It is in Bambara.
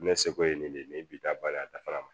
Ne seko ye nin de ye nin bi da bali a dafara ma